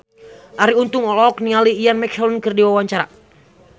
Arie Untung olohok ningali Ian McKellen keur diwawancara